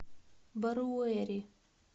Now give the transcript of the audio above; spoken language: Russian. баруэри